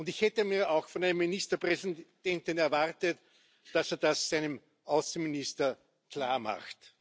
Und ich hätte mir auch von einem Ministerpräsidenten erwartet, dass er das seinem Außenminister klarmacht.